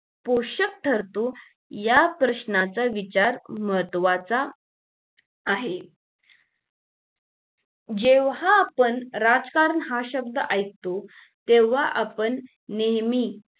पोषक ठरतो या प्रश्नाचं विचार महत्वाचा आहे जेव्हा आपण राजकारण हा शब्द ऐकतो तेव्हा आपण नेहमी